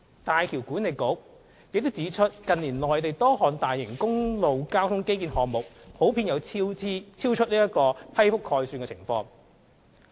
大橋管理局亦指出，近年內地多項大型公路交通基建項目普遍出現超出批覆概算的情況。